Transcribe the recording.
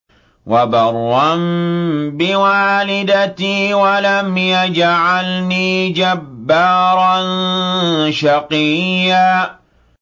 وَبَرًّا بِوَالِدَتِي وَلَمْ يَجْعَلْنِي جَبَّارًا شَقِيًّا